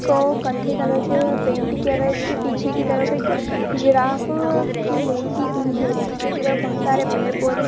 कौ कत्थई कलर से पेंट किया गया है इसके पीछे की तरफ एक जिराफ की मूर्ति भी है पीछे की तरफ बहुत सारे पेड़-पौधे --